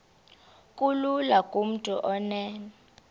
kulula kumntu onen